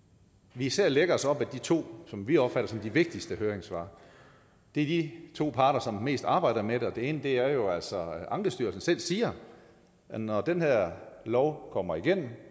vi især lægger os op ad de to som vi opfatter som de vigtigste høringssvar det er de to parter som mest arbejder med det den ene er jo altså ankestyrelsen som selv siger at når den her lov kommer igennem